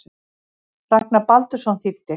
Ragnar Baldursson þýddi.